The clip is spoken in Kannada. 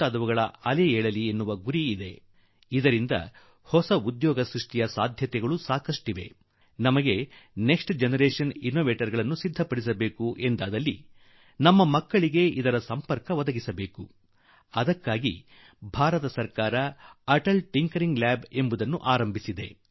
ಇದು ಆರಂಭವಾದರೆ ಇದರಿಂದ ಹೊಸದಾಗಿ ಉದ್ಯೋಗಾವಕಾಶಗಳು ಹೆಚ್ಚಲಿವೆ ನಾವು ಮುಂದಿನ ಪೀಳಿಗೆ ಅನ್ವೇಷಕರನ್ನು ತಯಾರು ಮಾಡಬೇಕಾದರೆ ನಮ್ಮ ಬಾಲಕರನ್ನು ಅದರೊಟ್ಟಿಗೆ ಸೇರಿಸಬೇಕು ಹಾಗೂ ಇದಕ್ಕಾಗಿ ಭಾರತ ಸರ್ಕಾರ ಅಟಲ್ ಖಿiಟಿಞeಡಿiಟಿg ಐಚಿbs ಪ್ರಯೋಗಾಲಯಗಳ ಸ್ಥಾಪನೆಗೆ ಮುಂದಾಗಿದೆ